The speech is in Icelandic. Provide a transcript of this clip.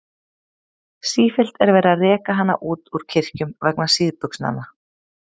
Sífellt er verið að reka hana út úr kirkjum vegna síðbuxnanna.